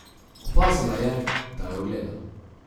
Opazila je, da jo gleda.